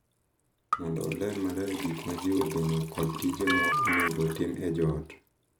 Mondo oler maler gik ma ji geno kod tije ma onego otim e joot.